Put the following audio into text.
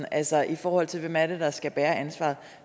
altså i forhold til hvem det er der skal bære ansvaret